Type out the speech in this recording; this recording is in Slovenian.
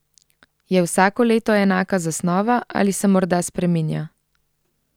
Je vsako leto enaka zasnova ali se morda spreminja?